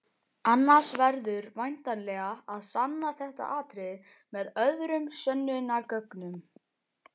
Annars verður væntanlega að sanna þetta atriði með öðrum sönnunargögnum.